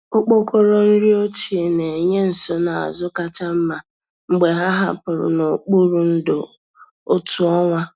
Okpokoro nri ochie na-enye nsonaazụ kacha mma mgbe ha hapụrụ n'okpuru ndò otu ọnwa.